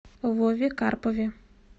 вове карпове